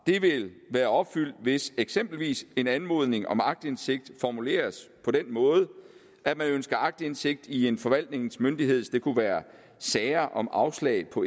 vil være opfyldt hvis eksempelvis en anmodning om aktindsigt formuleres på den måde at man ønsker aktindsigt i en forvaltningsmyndighed det kunne være sager om afslag på